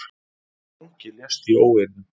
Fangi lést í óeirðum